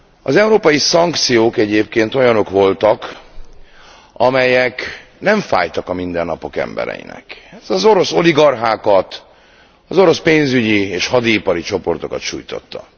Az európai szankciók egyébként olyanok voltak, amelyek nem fájtak a mindennapok embereinek. Az orosz oligarchákat, az orosz pénzügyi és hadiipari csoportokat sújtották.